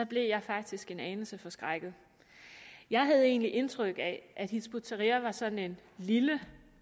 blev jeg faktisk en anelse forskrækket jeg havde egentlig indtryk af at hizb ut tahrir var sådan en lille